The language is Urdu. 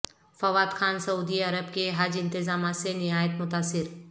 فواد خان سعودی عرب کے حج انتظامات سے نہایت متاثر